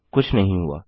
कुछ नहीं हुआ